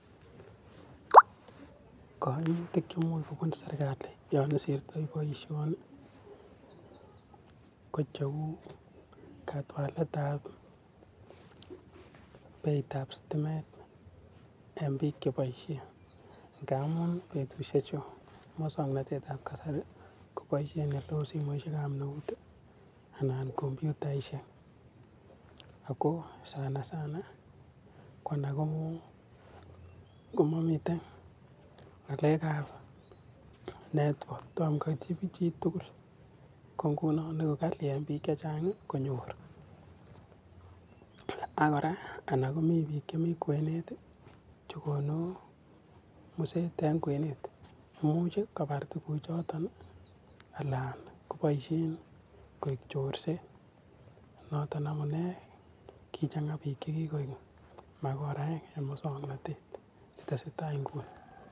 Kaimutik che imuch kobun serikali yon isirtoi boisioni kocheu katwaletab beitab sitimet eng biik chepoishen ngamun betusiechu muswoknatetab kasari kopoishen oleu simoishekab eut anan kompuitashek, ako sana sana ko alak komamiten ngalekab network tomo koit chitugul, ko nguno eku kali eng biik chechang konyor, ako kora anan komi biik chemi kwenet chekonu muset eng kwenet imuch kopar tuguk choto alaan kopoishen koek chorset. Noton amune kichang biik chekikoek mikoraek eng muswoknatet, tesetai nguni.